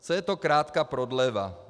Co je to krátká prodleva.